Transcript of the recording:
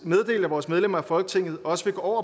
meddelt at vores medlemmer af folketinget også vil gå